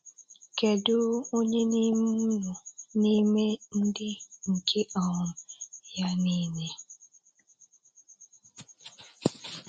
Kedu onye n'ime unu n'ime ndị nke um Ya nile?